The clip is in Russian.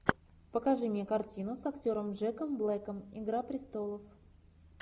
покажи мне картину с актером джеком блэком игра престолов